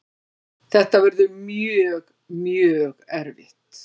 Þetta verður mjög, mjög erfitt.